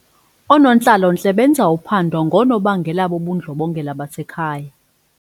Oonontlalontle benza uphando ngoonobangela bobundlobongela basekhaya.